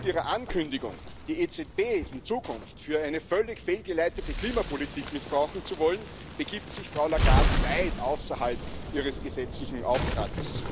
Denn mit ihrer Ankündigung, die EZB in Zukunft für eine völlig fehlgeleitete Klimapolitik missbrauchen zu wollen, begibt sich Frau Lagarde weit außerhalb ihres gesetzlichen Auftrags.